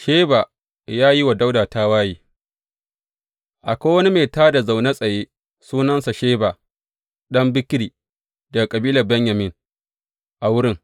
Sheba ya yi wa Dawuda tawaye Akwai wani mai tā da na zaune tsaye, sunansa Sheba, ɗan Bikri, daga kabilar Benyamin, a wurin.